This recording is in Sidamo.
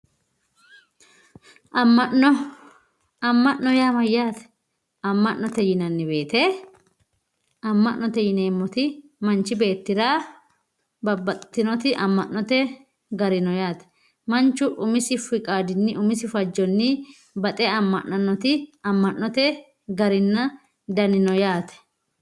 Ama`no ama`no yaa mayate aman`ate yinani woyiite manchi beetira babaxitinoti aman`ote gari no yaate manchu umisi garini fajje amananoti aman`ote dani no yaate